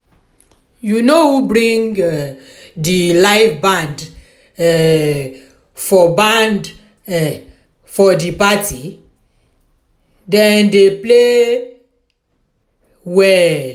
you know who bring um di live band um for band um for di party? dem dey play um well.